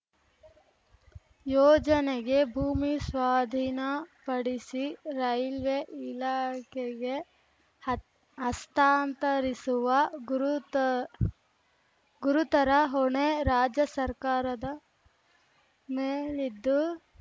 ಯೋಜನೆಗೆ ಭೂಮಿ ಸ್ವಾಧೀನ ಪಡಿಸಿ ರೈಲ್ವೆ ಇಲಾಖೆಗೆ ಹತ್ ಹಸ್ತಾಂತರಿಸುವ ಗುರುತ ಗುರುತರ ಹೊಣೆ ರಾಜ್ಯ ಸರ್ಕಾರದ ಮೇಲಿದ್ದು